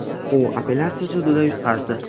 U apellyatsiya sudida yutqazdi.